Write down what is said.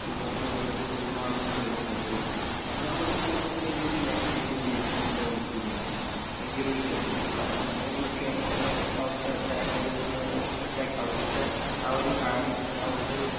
ഇവിടുന്ന് വന്നിട്ട് ഒരു മാസത്തിനുള്ളില് നേടിയെടുത്ത് അപ്പ ഞാനിവിടുന്ന് പോകുമ്പോത്തന്നെ ഈയൊരു ലാങ്ങ്വേജെന്തിയേയ്തിരുന്നു ഒന്ന് ഡെവലെപ്പെയ്തിരുന്നു ഈയൊരു വിഷയത്തില് നമ്മളെ എ എല്ലാ യു കെ ല് അവിടുത്തെ ലാങ്ങ്വേജ് ഒന്ന് എഹ് സെറ്റാക്കി അവിടുത്തെ ആ ഒരു ആം എഹ് അവിടുത്തെ